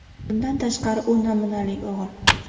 Bundan tashqari, u namunali o‘g‘il.